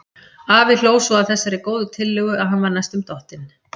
Afi hló svo að þessari góðu tillögu að hann var næstum dottinn.